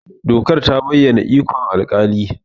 Dokar ta bayyana ikon alƙali.